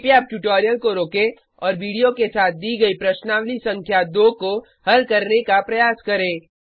कृपया अब ट्यूटोरियल को रोकें और वीडियो के साथ दी गयी प्रश्नावली संख्या 2 को हल करने का प्रयास करें